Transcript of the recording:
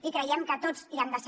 i creiem que tots hi han de ser